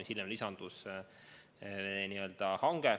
See hange lisandus hiljem.